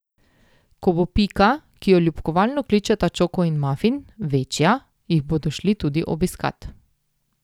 Ko bo Pika, ki jo ljubkovalno kličeta Čoko in mafin, večja, jih bodo šli tudi obiskat.